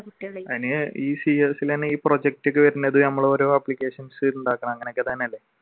അതിന് ഈ cs നു തന്നെ project ഒക്കെ വരുന്നത് ഞമ്മള് ഓരോ applications ഉണ്ടാക്കണം അങ്ങനൊക്കെ തന്നെയല്ലേ?